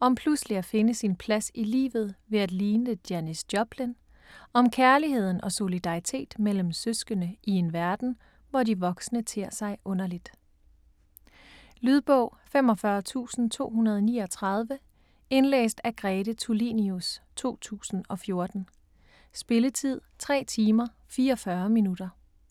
om pludselig at finde sin plads i livet ved at ligne Janis Joplin, om kærlighed og solidaritet mellem søskende i en verden, hvor de voksne tér sig underligt. Lydbog 45239 Indlæst af Grete Tulinius, 2014. Spilletid: 3 timer, 44 minutter.